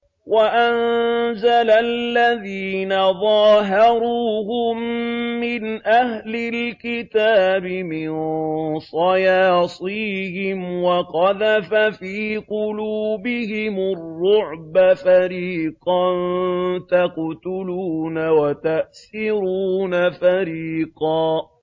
وَأَنزَلَ الَّذِينَ ظَاهَرُوهُم مِّنْ أَهْلِ الْكِتَابِ مِن صَيَاصِيهِمْ وَقَذَفَ فِي قُلُوبِهِمُ الرُّعْبَ فَرِيقًا تَقْتُلُونَ وَتَأْسِرُونَ فَرِيقًا